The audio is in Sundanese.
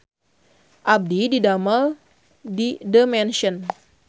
Abdi didamel di The Mansion